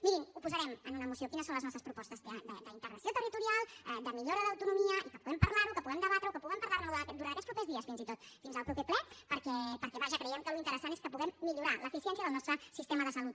mirin ho posarem en una moció quines són les nostres propostes d’integració territorial de millora d’autonomia i que puguem parlar ho que puguem debatre ho que puguem parlar ne durant aquests propers dies fins i tot fins al proper ple perquè vaja creiem que el que és interessant és que puguem millorar l’eficiència del nostre sistema de salut